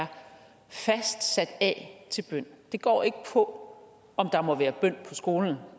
er fast sat af til bøn det går ikke på om der må være bøn på skolen